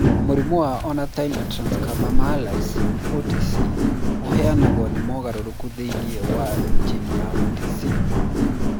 Mũrimũ wa Ornithine transcarbamylase (OTC) ũrehagwo ni mogarũrũku thĩinĩ wa jini ya OTC.